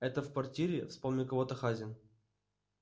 это в квартире вспомнил кого-то хазин